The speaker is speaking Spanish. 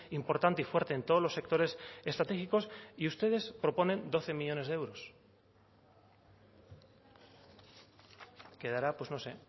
importante y fuerte en todos los sectores estratégicos y ustedes proponen doce millónes de euros quedará pues no sé